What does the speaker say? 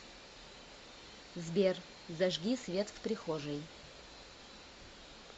сбер зажги свет в прихожей